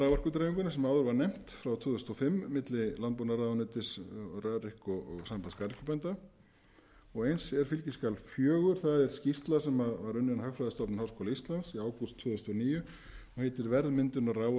raforkudreifinguna sem áður var nefnt frá tvö þúsund og fimm milli landbúnaðarráðuneytis rarik og sambands garðyrkjubænda og eins er fskj fjögur skýrsla sem var unnin af hagfræðistofnun háskóla íslands í ágúst tvö þúsund og níu og heitir verðmyndun á raforku